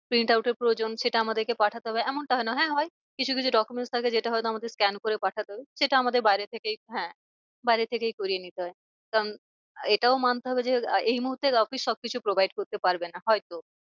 Print out এর প্রয়োজন সেটা আমাদেরকে পাঠাতে হবে এমনটা হয় না। হ্যাঁ হয় কিছু কিছু document থাকে যেটা হয় তো আমাদের scan করে পাঠাতে হবে। সেটা আমাদের সেটা আমাদের বাইরে থেকেই হ্যাঁ বাইরে থেকেই করিয়ে নিতে হয়। কারণ এটাও মানতে হবে যে এই মুহূর্তে office সব কিছু provide করতে পারবে না হয় তো।